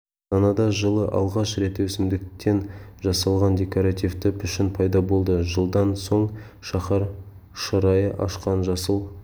астанада жылы алғаш рет өсімдіктен жасалған декоративті пішін пайда болды жылдан соң шаһар шырайын ашқан жасыл